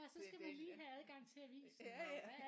Det er det ja ja